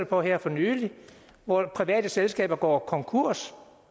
på her for nylig hvor private selskaber går konkurs